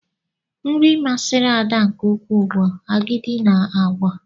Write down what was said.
Nri masịrị Ada nke ukwuu bụ agidi na àgwà.